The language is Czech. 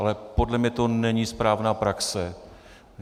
Ale podle mě to není správná praxe.